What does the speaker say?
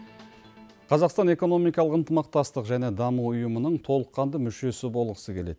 қазақстан экономикалық ынтымақтастық және даму ұйымының толыққанды мүшесі болғысы келеді